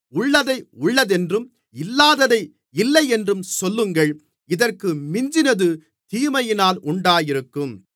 உள்ளதை உள்ளதென்றும் இல்லாததை இல்லையென்றும் சொல்லுங்கள் இதற்கு மிஞ்சினது தீமையினால் உண்டாயிருக்கும்